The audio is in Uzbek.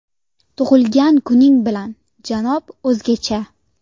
Tug‘ilgan kuning bilan, janob O‘zgacha!